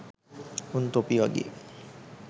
උන් තොපි වගේ